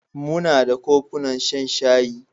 Muna da kofunan shan shayi.